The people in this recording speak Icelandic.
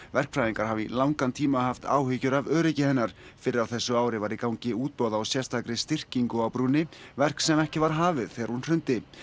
verkfræðingar hafa í langan tíma haft áhyggjur af öryggi hennar fyrr á þessu ári var í gangi útboð á sérstakri styrkingu á brúnni verk sem ekki var hafið þegar hún hrundi